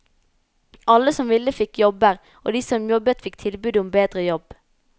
Alle som ville fikk jobber, og de som jobbet fikk tilbud om bedre jobb.